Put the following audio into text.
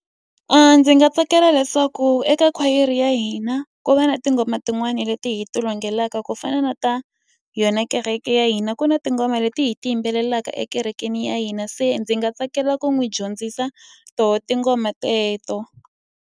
Ndzi nga tsakela leswaku eka khwayere ya hina, ku va na tinghoma tin'wani leti hi ti ku fana na ta yona kereke ya hina. Ku na tinghoma leti hi ti yimbelelaka ekerekeni ya hina, se ndzi nga tsakela ku n'wi dyondzisa tona tinghoma teleto.